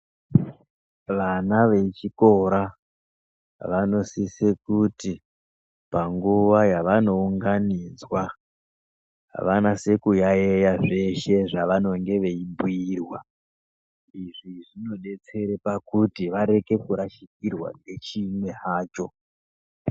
Vana vechikora vanosisa kuti panguwa yavanounganidzwa vanase kuyaiya zveshe zvavanenge veibhuyirwa. Izvi zvinodetsera pakuti varekere kurashikirwa ngechimwe hacho.